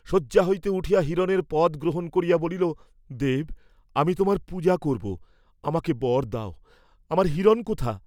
শয্যা হইতে উঠিয়া হিরণের পদ গ্রহণ করিয়া বলিল, দেব, আমি তোমার পূজা করব, আমাকে বর দাও, আমার হিরণ কোথা?